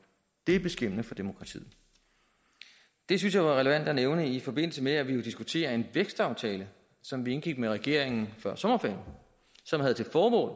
det er beskæmmende for demokratiet det synes jeg er relevant at nævne i forbindelse med at vi jo diskuterer en vækstaftale som vi indgik med regeringen før sommerferien og som har til formål